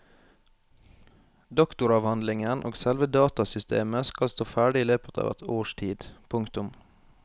Doktoravhandlingen og selve datasystemet skal stå ferdig i løpet av et års tid. punktum